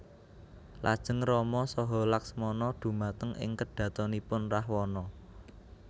Lajeng Rama saha Laksmana dhumateng ing kedhatonipun Rahwana